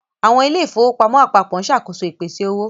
Àwọn ilé ìfowópamọ́ apapo ń ṣàkóso ìpèsè owó.